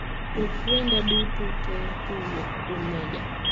Chok wenda duto te kowuok kuom mejja